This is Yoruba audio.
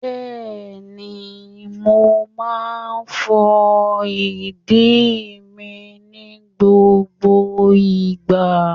Bẹ́ẹ̀ni, mo máa ń fọ ìdíi mi ní gbogbo ìgbà.